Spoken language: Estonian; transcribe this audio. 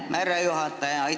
Aitäh, härra juhataja!